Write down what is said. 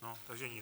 No, takže nic.